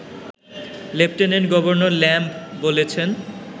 lieutenant governor Lamb বলেছেন